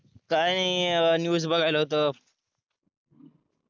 काही नाही न्यूज बघायला होतो